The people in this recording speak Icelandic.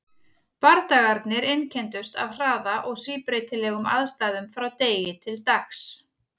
Bardagarnir einkenndust af hraða og síbreytilegum aðstæðum frá degi til dags.